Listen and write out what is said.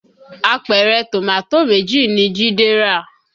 Àpẹrẹ Tomato méjì ni Jide rà